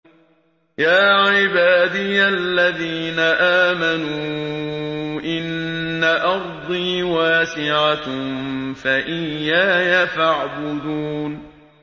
يَا عِبَادِيَ الَّذِينَ آمَنُوا إِنَّ أَرْضِي وَاسِعَةٌ فَإِيَّايَ فَاعْبُدُونِ